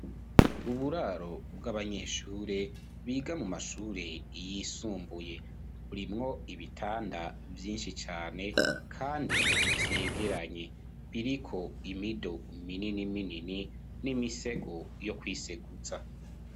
Uburaro bw'abanyeshure biga mu mashure yisumbuye burimwo ibitanda vyinshi cane kandi vyegeranye biriko imido minini minini n'imisego yo kwiseguza.